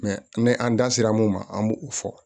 an da sera mun ma an b'o fɔ